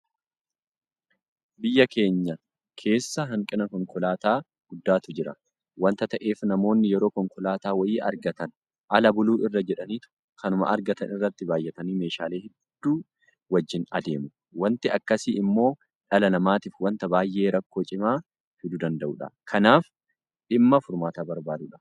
Biyya keenya keessa hanqina konkolaataa guddaatu jira waanta ta'eef namoonni yeroo konkolaataa wayii argatan ala buluu irra jedhaniitu kanuma argatan irratti baay'atanii meeshaalee hedduu wajjin adeemu. Waanti akkasii immoo dhala namaatiif waanta baay'ee rakkoo cimaa fiduu danda'udha. Kanaaf dhimma furmaata barbaadudha.